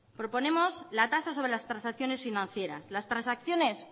proponemos la tasa sobre las transacciones financieras las transacciones